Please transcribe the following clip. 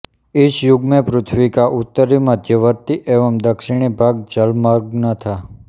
इस युग में पृथ्वी का उत्तरी मध्यवर्ती एवं दक्षिणी भाग जलमग्न था